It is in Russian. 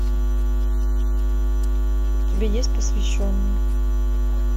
у тебя есть посвященный